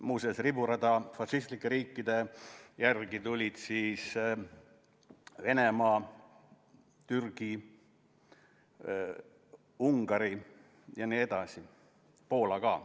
Muuseas, fašistlike riikide järel tulid siis riburada Venemaa, Türgi, Ungari ja nii edasi, Poola ka.